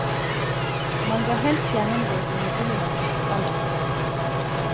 Man bør helst gjennomgå et nybegynnerkurs aller først.